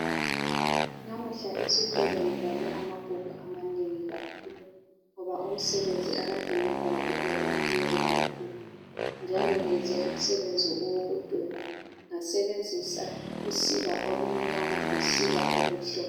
Namuhla esikolo ngibale amabhuku amanengi kakhulu ngoba umsebenzi akade ngilawo ube umnengi kakhulu njalo ngenze umsebenzi owokudweba ngasebenzisa usiba olumnyama losiba olumhlophe.